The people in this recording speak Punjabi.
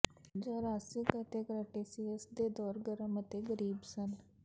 ਜੂਰਾਸੀਕ ਅਤੇ ਕ੍ਰੈਟੀਸੀਅਸ ਦੇ ਦੌਰ ਗਰਮ ਅਤੇ ਗਰੀਬ ਸਨ